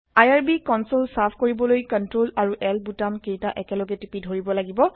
IRB console চাফা কৰিবলৈ CTRL আৰু L বুটাম কেইতা একেলগে টিপি ধৰিব লাগিব